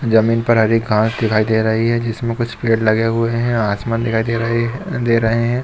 जमीन पर हरी घास दिखाई दे रही है जिसमें कुछ पेड़ लगे हुए हैं आसमान दिखाई दे रही है दे रहे हैं।